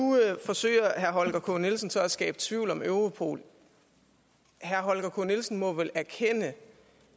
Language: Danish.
forsøger herre holger k nielsen så at skabe tvivl om europol herre holger k nielsen må vel erkende